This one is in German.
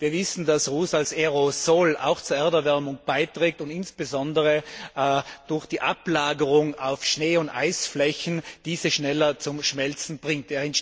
Wir wissen, dass Ruß als Aerosol auch zur Erderwärmung beiträgt und insbesondere durch die Ablagerung auf Schnee und Eisflächen diese schneller zum Schmelzen bringt.